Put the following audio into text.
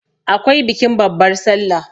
akwai bikin babbar sallah